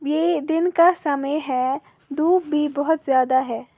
ये दिन का समय है धूप भी बहोत ज्यादा है।